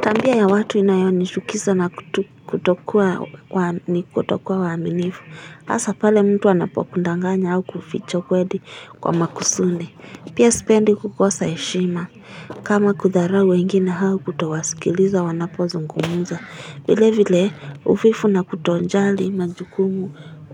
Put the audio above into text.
Tabia ya watu inayoni chukiza na kutokuwa waaminifu. Hasa pale mtu anapokudanganya au kuficha ukweli kwa makusudi. Pia sipendi kukosa heshima. Kama kudharau wengine au kutowasikiliza wanapozungumuza. Vile vile uvivu na kutojali majukumu